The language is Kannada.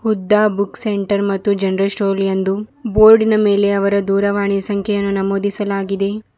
ಹುದ್ದ ಬುಕ್ ಸೆಂಟರ್ ಮತ್ತು ಜನರಲ್ ಸ್ಟೋರ್ ಎಂದು ಬೋರ್ಡಿನ ಮೇಲೆ ಅವರ ದೂರವಾಣಿಯ ಸಂಖ್ಯೆಯನ್ನು ನಮೂದಿಸಲಾಗಿದೆ.